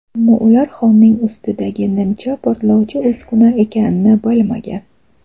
Ammo ular Xonning ustidagi nimcha portlovchi uskuna ekanini bilmagan.